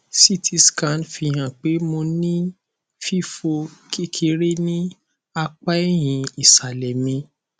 ct scan fihan pe mo ni fifọ kekere ni apa ẹhin isalẹ mi